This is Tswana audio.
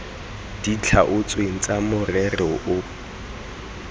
di tlhaotsweng tsa morero o